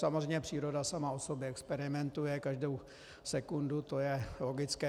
Samozřejmě příroda sama o sobě experimentuje každou sekundu, to je logické.